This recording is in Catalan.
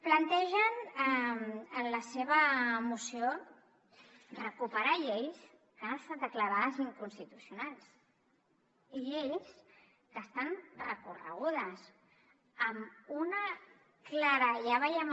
plantegen en la seva moció recuperar lleis que han estat declarades inconstitucionals i lleis que estan recorregudes amb una clara ja veiem